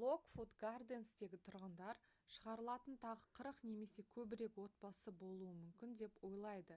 локвуд гарденстегі тұрғындар шығарылатын тағы 40 немесе көбірек отбасы болуы мүмкін деп ойлайды